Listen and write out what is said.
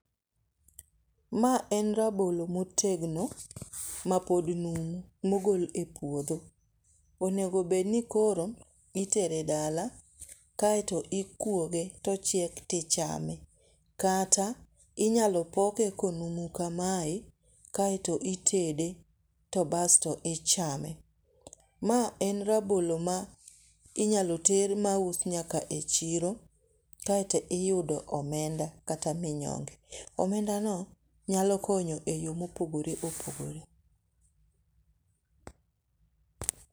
Ma en rabolo motegno mapod numu, mogol e puodho, onego bed nikoro itere dala kae to ikuoge to óchiek to ichame. Kata inyalo poke ka onumu kamae kaeto itede to bas to ichame. Ma en rabolo ma inyalo ter maus nyaka e chiro kaeto iyudo omenda kata minyonge. Omendano nyalo konyo eyo mopogore opogore.